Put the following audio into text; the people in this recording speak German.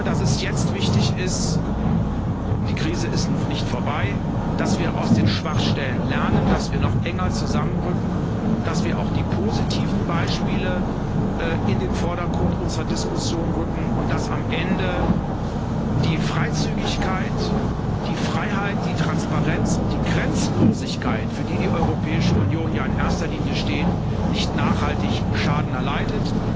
Aber ich glaube, dass es jetzt wichtig ist die Krise ist noch nicht vorbei dass wir aus den Schwachstellen lernen, dass wir noch enger zusammenrücken, dass wir auch die positiven Beispiele in den Vordergrund unserer Diskussion rücken und dass am Ende die Freizügigkeit, die Freiheit, die Transparenz und die Grenzenlosigkeit, für die die Europäische Union ja in erster Linie steht, nicht nachhaltig Schaden erleiden.